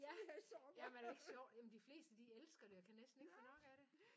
Ja ja men er det ikke sjovt? Ja men de fleste de elsker det og kan næsten ikke få nok af det